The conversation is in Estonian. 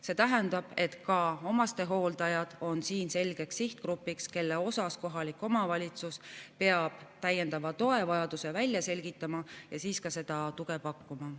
See tähendab, et ka omastehooldajad on siin selgeks sihtgrupiks, kelle täiendava toe vajaduse kohalik omavalitsus peab välja selgitama ja siis ka seda tuge pakkuma.